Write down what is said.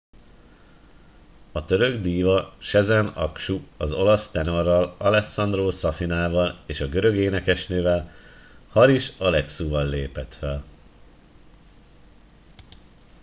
a török díva sezen aksu az olasz tenorral alessandro safina val és a görög énekesnővel haris alexiou val lépett fel